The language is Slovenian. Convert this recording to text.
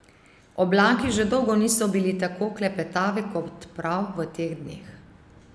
Oblaki že dolgo niso bili tako klepetavi kot prav v teh dneh.